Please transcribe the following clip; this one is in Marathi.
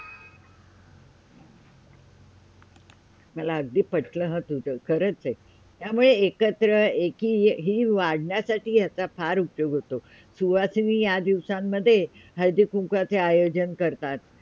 मला अगदी पटलं हं तुझ खरंच आहे, यामुळे एकत्र एकी हे वाढण्यासाठी याचा फार उपयोग होतो सुहासणी या दिवसामध्ये हळदी कुंकवाचा आयोजन करतात